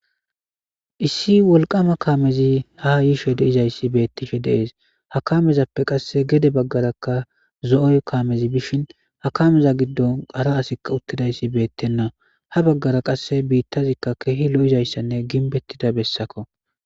Issi wolqama kamezi ha yishe de'izays betishe des ha kamezappe qase gede bagarakka zo'o kamezi de'ishen ha kameza gidonkka hara asikka utidaysi betena ha bagara qase bitazikka kehi lo'izaysanne ginbetida besakko